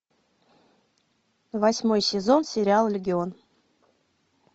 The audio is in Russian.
восьмой сезон сериал легион